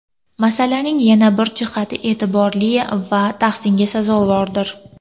Masalaning yana bir jihati e’tiborli va tahsinga sazovordir.